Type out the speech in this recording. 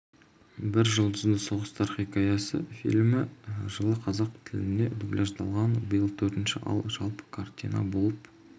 бір жұлдызды соғыстар хикаясы фильмі жылы қазақ тіліне дубляждалған биыл төртінші ал жалпы картина болып